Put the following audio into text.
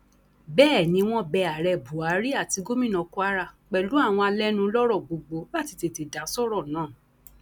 bẹẹ ni wọn bẹ ààrẹ buhari àti gomina kwara pẹlú àwọn alẹnulọrọ gbogbo láti tètè dá sọrọ náà